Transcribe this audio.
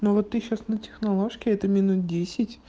ну вот ты сейчас на техноложке это минут